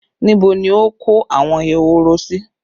Níbo ni ó kó àwọn ehoro sí?